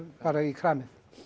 bara í kramið